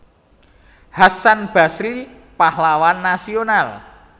Hasan Basry Pahlawan Nasional